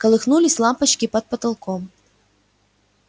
колыхнулись лампочки под потолком